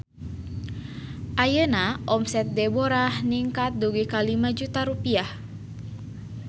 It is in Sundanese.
Ayeuna omset Deborah ningkat dugi ka 5 juta rupiah